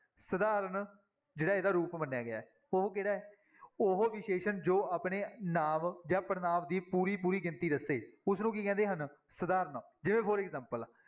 ਸਧਾਰਨ ਜਿਹੜਾ ਇਹਦਾ ਰੂਪ ਮੰਨਿਆ ਗਿਆ ਹੈ ਉਹ ਕਿਹੜਾ ਹੈ ਉਹ ਵਿਸ਼ੇਸ਼ਣ ਜੋ ਆਪਣੇ ਨਾਂਵ ਜਾਂ ਪੜ੍ਹਨਾਂਵ ਦੀ ਪੂਰੀ-ਪੂਰੀ ਗਿਣਤੀ ਦੱਸੇ, ਉਸਨੂੰ ਕੀ ਕਹਿੰਦੇ ਹਨ ਸਧਾਰਨ ਜਿਵੇਂ for example